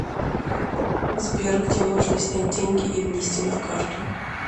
сбер где можно снять деньги и внести на карту